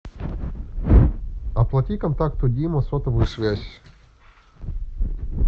оплати контакту дима сотовую связь